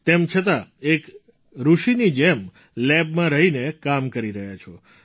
તેમ છતાં એક ઋષિની જેમ લેબમાં રહીને કામ કરી રહ્યા છો